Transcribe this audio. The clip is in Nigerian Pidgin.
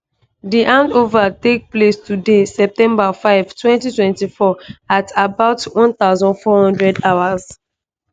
di handover take place today september 5 2024 at about 1400hrs.